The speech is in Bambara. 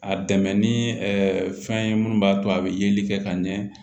A dɛmɛ ni fɛn ye mun b'a to a bɛ yeli kɛ ka ɲɛ